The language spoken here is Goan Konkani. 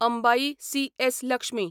अंबाई सी.एस. लक्ष्मी